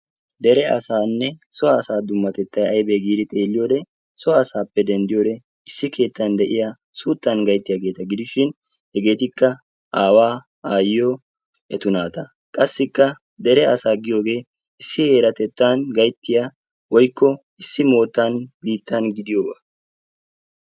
Dere asaanne so asaa dummatettayi aybe giidi xeelliyode so asaappe dendiyode issi keettan de"iya suuttan gayttiyageeta gidishin hegeetikka aawaa aayyiyo etu naata. Qassikka dere asaa giyogee issi heeratettan gayttiya woykko issi moottan biittan gidiyoogaa.